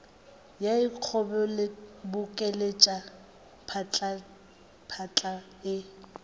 e a ikgobokeletša phatlaphatla e